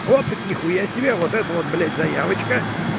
вот так ни хуя себе вот это вот блядь заявочка